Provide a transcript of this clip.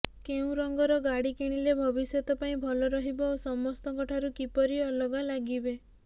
କେଉଁ ରଙ୍ଗର ଗାଡି କିଣିଲେ ଭବିଷ୍ୟତ ପାଇଁ ଭଲ ରହିବ ଓ ସମସ୍ତଙ୍କ ଠାରୁ କିପରି ଅଲଗା ଲାଗିବେ